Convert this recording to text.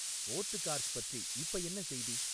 ஓர்ட்கார்ஸ் பற்றி இப்ப என்ன செய்தி?